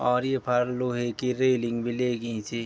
और येफर लोहे की रेलिंग भी लेगीं ची।